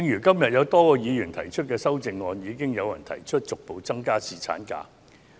今天有多位議員提出修正案，並有議員提出逐步增加侍產假的日數。